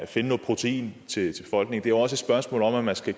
finde noget protein til folk det er jo også et spørgsmål om at man skal